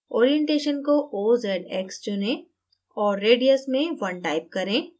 orientation को ozx चुनें औऱ radius में 1 type करें